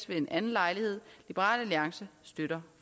ved en anden lejlighed liberal alliance støtter